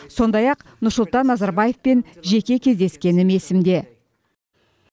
сондай ақ нұрсұлтан назарбаевпен жеке кездескенім есімде